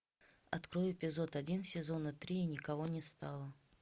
открой эпизод один сезона три никого не стало